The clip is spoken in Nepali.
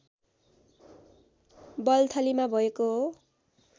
बल्थलीमा भएको हो